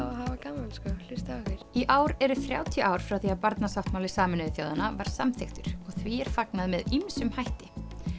hafa gaman sko hlusta á í ár eru þrjátíu ár frá því að Barnasáttmáli Sameinuðu þjóðanna var samþykktur og því er fagnað með ýmsum hætti